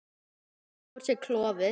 Hann nuddar á sér klofið.